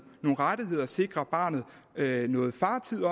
rettigheder og sikre barnet noget fartid